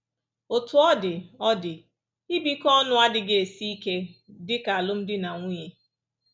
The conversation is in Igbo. Otú ọ dị, ọ dị, ibikọ ọnụ adịghị esi ike dị ka alụmdi na nwunye